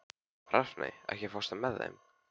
Rafney, ekki fórstu með þeim?